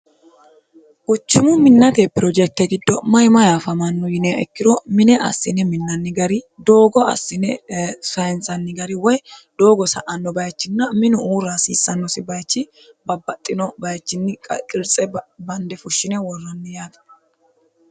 Kuchimu minnate pirojekte giddo mayi mayi afamanno yiniha ikkiro mine assine minnanni gari doogo assine sayinisanni gari woy doogo sa'anno bayichinna minu uura hasiissannosi bayichi babbaxxino bayichinni qirtse bande fushshine worranni yaate